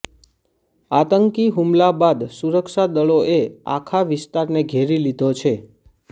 આતંકી હુમલા બાદ સુરક્ષા દળોએ આખા વિસ્તારને ઘેરી લીધો છે